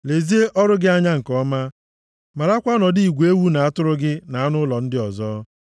Lezie ọrụ gị anya nke ọma, marakwa ọnọdụ igwe ewu na atụrụ gị na anụ ụlọ ndị ọzọ,